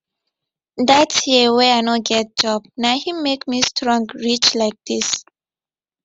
that year wey i no get job na him make me strong reach like this